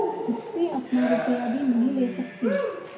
मुझसे अपना रुपया भी नहीं ले सकती